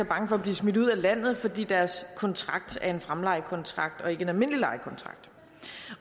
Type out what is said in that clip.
bange for at blive smidt ud af landet fordi deres kontrakt er en fremlejekontrakt og ikke en almindelig lejekontrakt